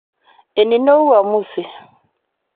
Enino uamusi